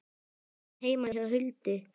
Við vorum heima hjá Huldu.